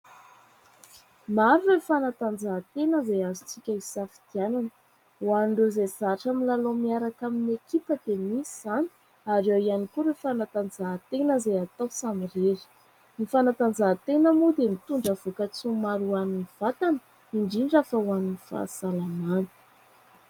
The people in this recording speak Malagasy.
Maro ireo fanatanjahantena izay azontsika hisafidianana. Ho an'ireo izay zatra milalao miaraka amin'ny ekipa dia misy izany ary ao ihany koa ireo fanatanjahantena izay atao samy irery. Ny fanatanjahantena moa dia mitondra voka-tsoa maro ho an'ny vatana, indrindra fa ho an'ny fahasalamana.